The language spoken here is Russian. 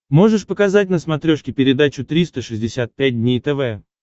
можешь показать на смотрешке передачу триста шестьдесят пять дней тв